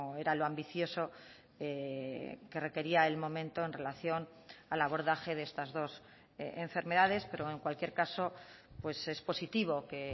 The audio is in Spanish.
era lo ambicioso que requería el momento en relación al abordaje de estas dos enfermedades pero en cualquier caso es positivo que